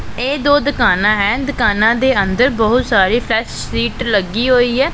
ਇਹ ਦੋ ਦੁਕਾਨਾਂ ਹੈਂ ਦੁਕਾਨਾਂ ਦੇ ਅੰਦਰ ਬਹੁਤ ਸਾਰੀ ਫ਼੍ਰੇਸ਼ ਸ਼ੀਟ ਲੱਗੀ ਹੋਈ ਹੈ।